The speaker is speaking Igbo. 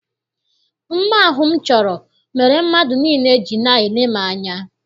Mma ahụ m chọrọ mere mmadụ niile ji na-ele m anya.